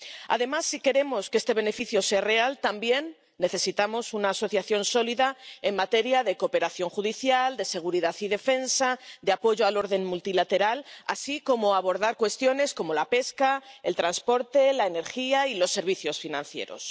Además, si queremos que este beneficio sea real también necesitamos una asociación sólida en materia de cooperación judicial, de seguridad y defensa, de apoyo al orden multilateral, así como abordar cuestiones como la pesca, el transporte, la energía y los servicios financieros.